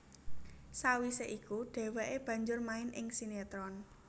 Sawisé iku dhèwèké banjur main ing sinetron